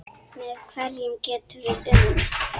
Með hverjum getum við unnið?